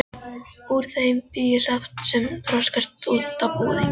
Úr þeim bý ég saft sem þroskast út á búðing.